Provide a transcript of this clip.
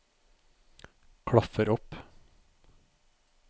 klaffer opp